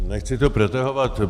Nechci to protahovat.